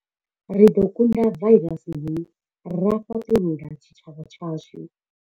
Ri ḓo kunda vairasi hei ra fhaṱulula tshitshavha tshashu.